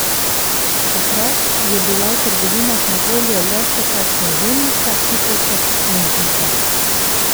Takrat je bila v trgovinah na voljo le še kakšna žemljica, kifeljček in biga.